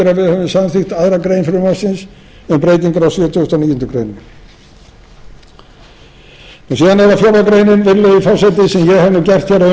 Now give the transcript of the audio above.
höfum samþykkt aðra grein frumvarpsins um breytingar á sjötugasta og níundu grein síðan er það fjórða grein virðulegi forseti sem ég